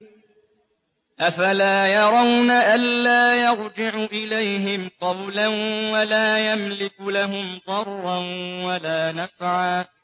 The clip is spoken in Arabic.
أَفَلَا يَرَوْنَ أَلَّا يَرْجِعُ إِلَيْهِمْ قَوْلًا وَلَا يَمْلِكُ لَهُمْ ضَرًّا وَلَا نَفْعًا